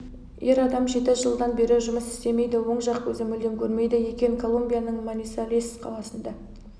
ер адам жеті жылдан бері жұмыс істемейді оң жақ көзі мүлдем көрмейді екен колумбияның манисалес қаласында